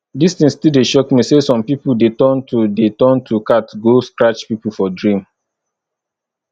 dis thing still dey shock me say some people dey turn to dey turn to cat go scratch people for dream